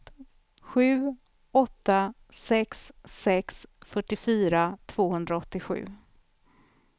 sju åtta sex sex fyrtiofyra tvåhundraåttiosju